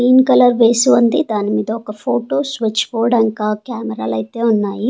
Green colour వేసి ఉంది దాని మీద ఒక ఫోటో స్విచ్ బోర్డు ఇంకా కెమెరా లు అయితే ఉన్నాయి.